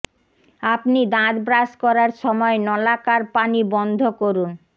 আপনি দাঁত ব্রাশ করার সময় নলাকার পানি বন্ধ করুন